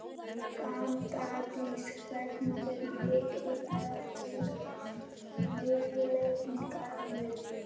Gnádís, hvað er mikið eftir af niðurteljaranum?